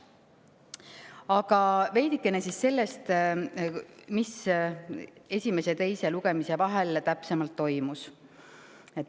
Veidikene ka sellest, mis esimese ja teise lugemise vahel täpsemalt toimus.